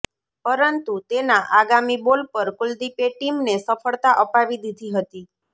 પરંતુ તેના આગામી બોલ પર કુલદીપે ટીમને સફળતા અપાવી દીધી હતી